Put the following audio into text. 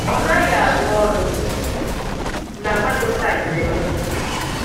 Ọ naghị arụ ọrụ na webụsaịtị m